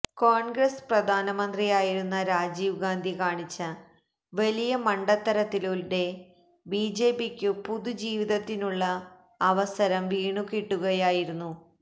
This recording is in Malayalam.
കോണ്ഗ്രസ്സ് പ്രധാനമന്ത്രിയായിരുന്ന രാജീവ്ഗാന്ധി കാണിച്ച വലിയ മണ്ടത്തരത്തിലൂടെ ബിജെപിക്കു പുതുജീവിതത്തിനുള്ള അവസരം വീണുകിട്ടുകയായിരുന്നു